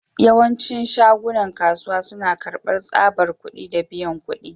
Yawancin shagunan kasuwa suna karbar tsabar kudi da biyan kudi.